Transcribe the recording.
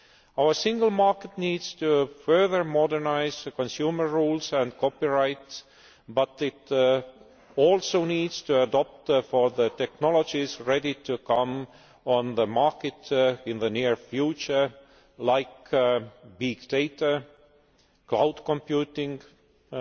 Our single market needs to further modernise consumer rules and copyright, but it also needs to adopt for the technologies ready to come on the market in the near future, such as big data, cloud computing and